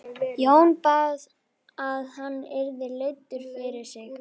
Jón bað um að hann yrði leiddur fyrir sig.